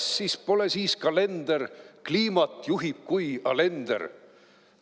Sassis pole siis kalender, kliimat juhib kui Alender.